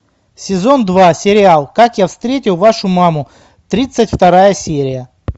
сезон два сериал как я встретил вашу маму тридцать вторая серия